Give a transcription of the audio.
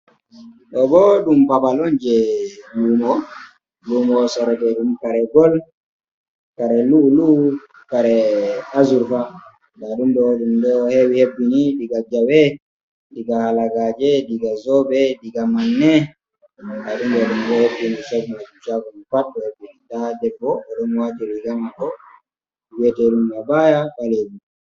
Ɗo bo ɗum babal on je lumo, lumo soro ɓe ɗum kare gol, kare lu'u'lu, kare azurva, nda ɗum ɗo ɗum ɗo hewi hebbini diga jawe, diga halagaje, diga zobe, diga manne, nda ɗum ɗo ɗum ɗo hebbini shago man pat ɗo hebbini, nda debbo oɗo wati riga mako wiyete ɗum abaya ɓalewu.